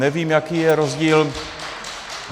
Nevím, jaký je rozdíl.